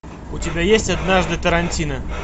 у тебя есть однажды тарантино